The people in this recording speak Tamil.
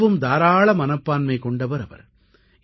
மிகவும் தாராள மனப்பான்மை கொண்டவர் அவர்